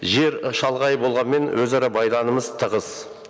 жер шалғай болғанымен өзара тығыз